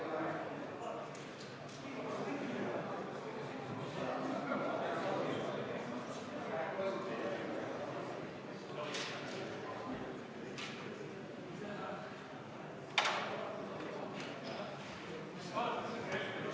Hääletustulemused Seitsmenda muudatusettepaneku poolt hääletas 47 Riigikogu liiget, vastu oli 49, erapooletuid ei olnud.